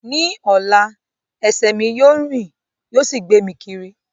Ní ọ̀la, ẹsẹ̀ mi yóò rìn yóò sì gbé mi kiri